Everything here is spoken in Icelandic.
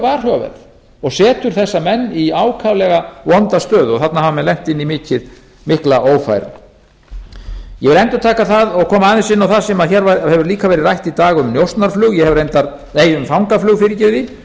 varhugaverð og setur þessa menn í ákaflega vonda stöðu og þarna hafa menn lent inn í mikla ófærð ég vil endurtaka það og koma aðeins inn á það sem hér hefur líka verið rætt í dag um ólöglegt fangaflug